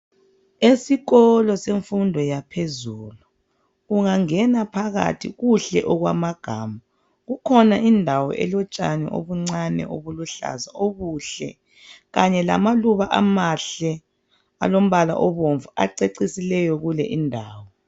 Esikolo semfundo yaphezulu ,ungangena phakathi kuhle okwamagama .Kukhona indawo elotshani obuncane obuluhlaza obuhle kanye lamaluba amahle alombala obomvu acecisileyo kule indawo.